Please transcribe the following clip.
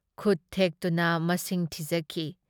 ꯈꯨꯠ ꯊꯦꯛꯇꯨꯅ ꯃꯁꯤꯡ ꯊꯤꯖꯈꯤ꯫